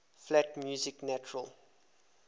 flat music natural